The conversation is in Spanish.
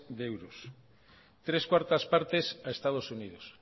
de euros tres barra cuatro partes a estados unidos